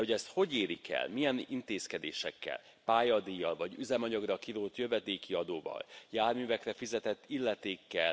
De hogy ezt hogy érik el, milyen intézkedésekkel, pályadíjjal vagy üzemanyagra kirótt jövedéki adóval, járművekre fizetett illetékkel?